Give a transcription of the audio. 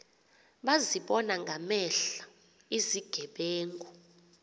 bazibona ngamehlo izigebenga